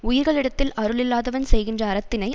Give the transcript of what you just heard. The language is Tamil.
உயிர்களிடத்தில் அருளில்லாதவன் செய்கின்ற அறத்தினை